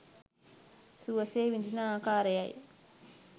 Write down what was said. සුවසේ විදින ආකාරය යි.